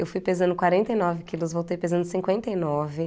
Eu fui pesando quarenta e nove quilos, voltei pesando cinquenta e nove.